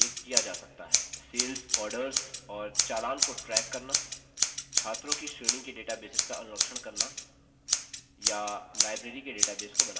sales orders और चालान को ट्रैक करना छात्रों की श्रेणी के डेटाबेसेस का अनुरक्षण करना या लाइब्रेरी के डेटाबेस को बनाना